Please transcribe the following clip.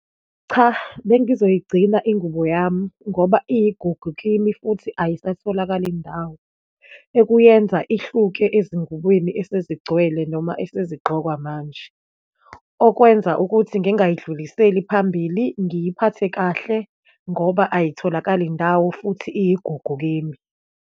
Cha, bengizoyigcina ingubo yami ngoba iyigugu kimi, futhi ayisatholakali ndawo, ekuyenza ihluke ezingubeni esezigcwele noma esezigqokwa manje. Okwenza ukuthi ngingayidluliseli phambili, ngiyiphathe kahle ngoba ayitholakali ndawo futhi iyigugu kimi.